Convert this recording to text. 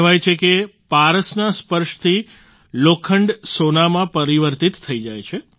કહેવાય છે કે પારસના સ્પર્શથી લોખંડ સોનામાં પરિવર્તિત થઈ જાય છે